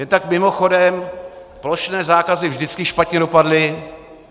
Jen tak mimochodem, plošné zákazy vždycky špatně dopadly.